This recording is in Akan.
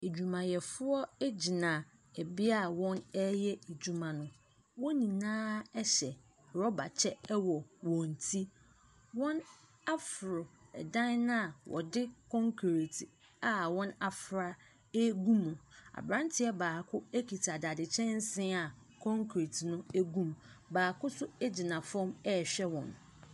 Adwumayɛfoɔ gyina bea a wɔreyɛ adwuma no, wɔn nyinaa hyɛ rɔba kyɛ wɔ wɔn ti, wɔaforo dan no a wɔde concrete a wɔafra ɛregu mu, aberanteɛ baako kita dade kyɛnse a concrete no gu mu. Baako nso gyina fam a ɔrehwɛ wɔn.